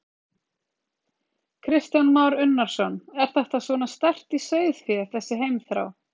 Kristján Már Unnarsson: Er þetta svona sterkt í sauðfé, þessi heimþrá?